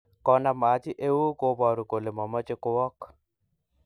Konam Haji euu koboru kole mameche kowok.